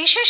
বিশেষ